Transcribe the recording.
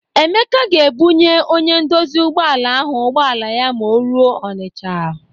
Emeka ga-ebunye onye ndozi ụgbọala ahụ ụgbọala ya ma o ruo Ọnịcha.